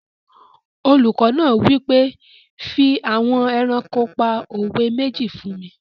Olùkọ́ náà wí pé "fi àwọn ẹranko pa òwe méjì fún mi!"